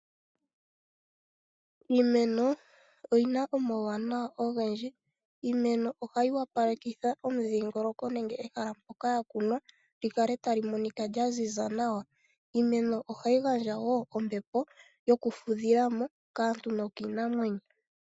Iimeno oyina omauwanawa ogendji. Iimeno ohayi wapalekitha omudhingoloko nenge ehala mpoka ya kunwa lyi kale tali monika lya ziza nawa. Iimeno ohayi gandja wo ombepo yoku fudhila mo kaantu nokiinamwenyo.